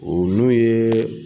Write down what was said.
O n'o yeee.